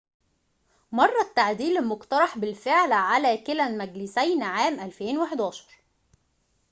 مرَّ التعديل المقترح بالفعل على كلا المجلسين عام 2011